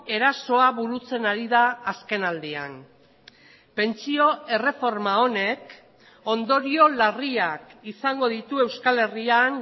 erasoa burutzen ari da azkenaldian pentsio erreforma honek ondorio larriak izango ditu euskal herrian